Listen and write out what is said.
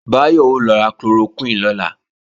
Báyọ̀ ó lọ ra chloroquine lọ́la